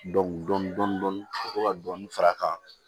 Dɔnkili dɔɔnin ka to ka dɔɔnin fara a kan